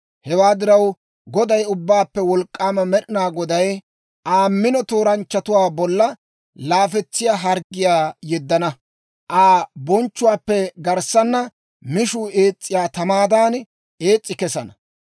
Hewaa diraw, Goday, Ubbaappe Wolk'k'aama Med'inaa Goday, Aa mino tooranchchatuwaa bolla laafetsiyaa harggiyaa yeddana; Aa bonchchuwaappe garssana mishuu ees's'iyaa tamaadan ees's'i kesana.